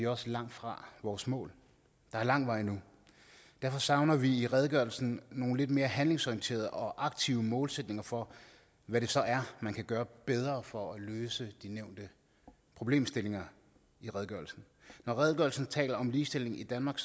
også langt fra vores mål der er lang vej endnu derfor savner vi i redegørelsen nogle lidt mere handlingsorienterede og aktive målsætninger for hvad det så er man kan gøre bedre for at løse de nævnte problemstillinger i redegørelsen når redegørelsen taler om ligestilling i danmark